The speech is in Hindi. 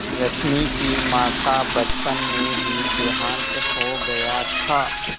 रश्मि की माँ का बचपन में ही देहांत हो गया था